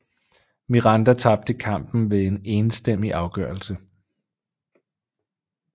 Miranda tabte kampen ved en enstemmig afgørelse